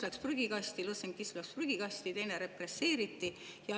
Lõssenkism läks prügikasti ja teist represseeriti.